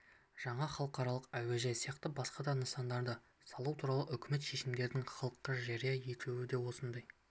жаңа халықаралық әуежай сияқты басқа да нысандарды салу туралы үкімет шешімдерінің халыққа жария етілуі осындай